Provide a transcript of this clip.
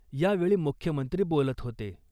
यावेळी मुख्यमंत्री बोलत होते .